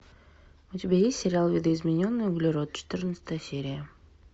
у тебя есть сериал видоизмененный углерод четырнадцатая серия